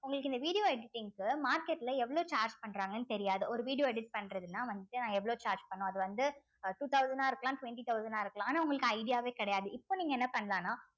உங்களுக்கு இந்த video editing க்கு market ல எவ்ளோ charge பண்றாங்கன்னு தெரியாது ஒரு video edit பண்றதுன்னா வந்துட்டு நான் எவ்ளோ charge பண்ணணும் அது வந்து two thousand ஆ இருக்கலாம் twenty thousand ஆ இருக்கலாம் ஆனா உங்களுக்கு idea வே கிடையாது இப்போ நீங்க என்ன பண்ணலாம்ன்னா